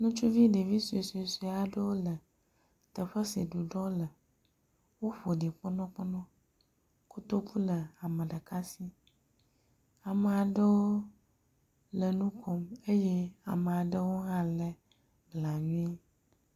Ŋutsuvi ɖevi suesue aɖewo le teƒe si ɖuɖɔ le. Woƒo ɖi kpɔnɔkpɔnɔ. Kotoku le ame ɖeka si. Ame aɖewo le nu kom eye ame aɖewo hã le blanui.